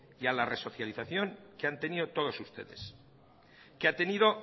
y a la resocialización que han tenido todos ustedes que ha tenido